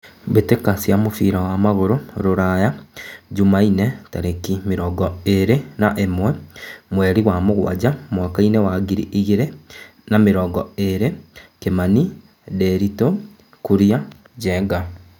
Mbĩ tĩ ka cia mũbira wa magũrũ Ruraya Jumaine tarĩ ki mĩ rongo ĩ rĩ na ĩ mwe mweri wa mũgwanja mwakainĩ wa ngiri igĩ rĩ na mĩ rongo ĩ rĩ : Kimani, Ndiritu, Kuria, Njenga.